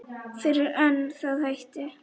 Fyrr en það hættir.